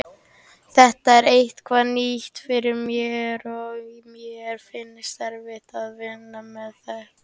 Þetta er eitthvað nýtt fyrir mér og mér finnst erfitt að vinna með þetta.